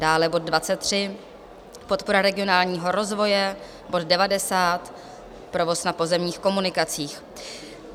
dále bod 23, podpora regionálního rozvoje; bod 90, provoz na pozemních komunikacích.